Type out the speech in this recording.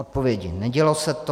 Odpovědi: nedělo se to.